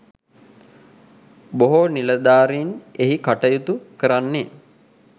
බොහෝ නිලධාරීන් එහි කටයුතු කරන්නේ